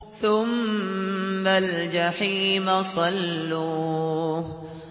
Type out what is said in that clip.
ثُمَّ الْجَحِيمَ صَلُّوهُ